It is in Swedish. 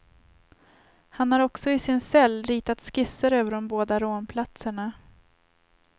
Han har också i sin cell ritat skisser över de båda rånplatserna.